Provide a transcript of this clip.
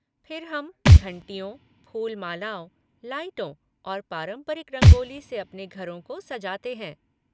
फिर हम घंटियों, फूल मालाओं, लाइटों और पारंपरिक रंगोली से अपने घरों को सजाते हैं।